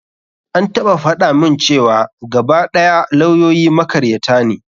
An taɓa faɗa mun cewa gaba ɗaya lawyoyi makaryata ne.